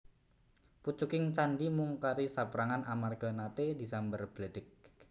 Pucuking candhi mung kari saperangan amarga nate disamber bledheg